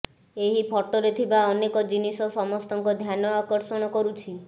ଏହି ଫଟୋରେ ଥିବା ଅନେକ ଜିନିଷ ସମସ୍ତଙ୍କ ଧ୍ୟାନ ଆକର୍ଷଣ କରୁଛି